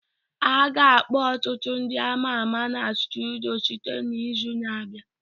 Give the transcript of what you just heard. A ga-akpọ ọtụtụ ndị ama ama na studio site n'izu na-abịa